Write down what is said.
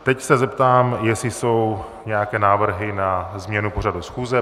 Teď se zeptám, jestli jsou nějaké návrhy na změnu pořadu schůze.